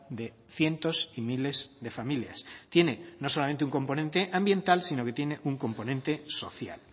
de cientos y miles de familias tiene no solamente un componente ambiental sino que tiene un componente social